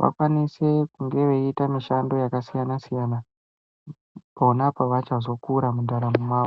vakwanise kunge veiita mishando yakasiyana-siyana pona pavachazokura mundaramo mwavo.